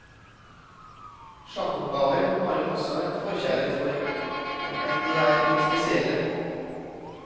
Sjakkoppgaver har hun også en forkjærlighet for, om enn de er litt spesielle.